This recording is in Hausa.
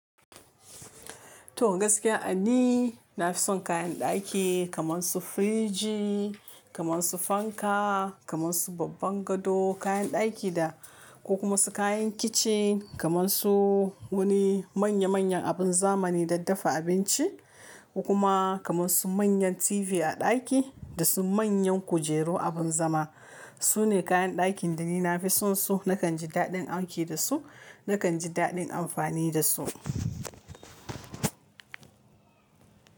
To gaskiya ani, na fi son kayan ɗaki kaman su firiji, kaman su fanka, kaman su babban gado, kayan ɗaki da ko kamasu kayan kicin kaman su wani manya manyan abun zamani daddafa abinci, kuma kaman su manyan TV a ɗaki da su manyan kujeru abun zama. Sune kayan ɗakin da ni nafi son su, nakan ji daɗin aiki da su, nakan ji daɗin amfani da su.